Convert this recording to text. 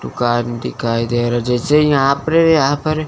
दुकान दिखाई दे रहा जैसे यहां पर यहां पर--